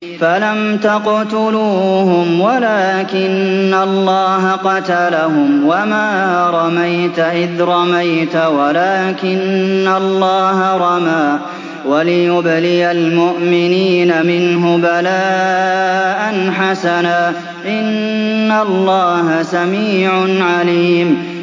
فَلَمْ تَقْتُلُوهُمْ وَلَٰكِنَّ اللَّهَ قَتَلَهُمْ ۚ وَمَا رَمَيْتَ إِذْ رَمَيْتَ وَلَٰكِنَّ اللَّهَ رَمَىٰ ۚ وَلِيُبْلِيَ الْمُؤْمِنِينَ مِنْهُ بَلَاءً حَسَنًا ۚ إِنَّ اللَّهَ سَمِيعٌ عَلِيمٌ